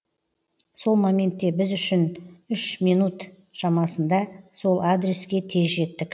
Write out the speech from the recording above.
сол моментте біз үш минут шамасында сол адреске тез жеттік